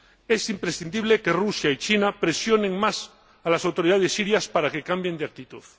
Es imprescindible que Rusia y China presionen más a las autoridades sirias para que cambien de actitud.